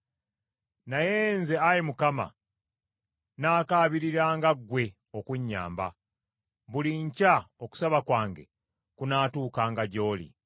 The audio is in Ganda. Naye nze, Ayi Mukama , naakabiriranga ggwe okunnyamba; buli nkya okusaba kwange kunaatuukanga gy’oli.